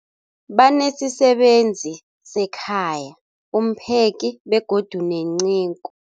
Banesisebenzi sekhaya, umpheki, begodu nenceku.